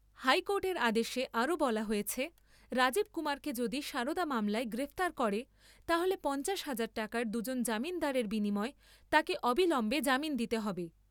হাইকোর্টের আদেশে আরও বলা হয়েছে , রাজীব কুমারকে যদি সারদা মামলায় গ্রেপ্তার করে তাহলে পঞ্চাশ হাজার টাকার দুজন জামিনদারের বিনিময়ে তাকে অবিলম্বে জামিন দিতে হবে।